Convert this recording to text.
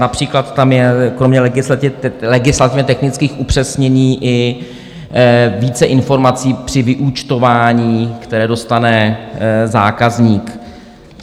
Například tam je kromě legislativně technických upřesnění i více informací při vyúčtování, které dostane zákazník.